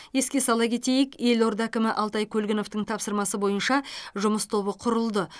еске сала кетейік елорда әкімі алтай көлгіновтің тапсырмасы бойынша жұмыс тобы құрылды